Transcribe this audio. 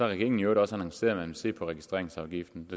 regeringen i øvrigt også annonceret at man vil se på registreringsafgiften